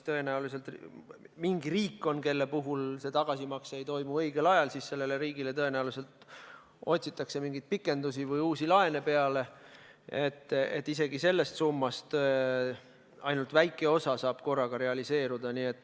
Tõenäoliselt on mingi riik, mille puhul see tagasimakse ei toimu õigel ajal, siis sellele riigile otsitakse mingeid pikendusi või uusi laene peale, nii et isegi sellest summast ainult väike osa saab korraga realiseeruda.